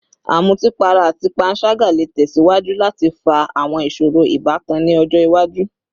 Amutipara ati panṣaga le tẹsiwaju lati fa awọn iṣoro ibatan ni ọjọ iwaju